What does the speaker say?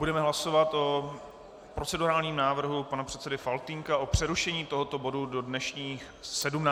Budeme hlasovat o procedurálním návrhu pana předsedy Faltýnka o přerušení tohoto bodu do dnešní 17. hodiny.